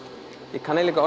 ég kann eiginlega